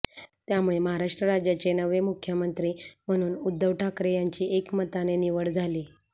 त्यामुळे महाराष्ट्र राज्याचे नवे मुख्यमंत्री म्हणून उद्धव ठाकरे यांची एकमताने निवड झाली